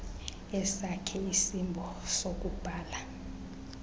esakhe isimbo sokubhaia